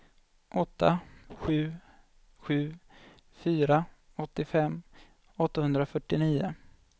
åtta sju sju fyra åttiofem åttahundrafyrtionio